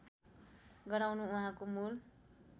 गराउनु उहाँको मूल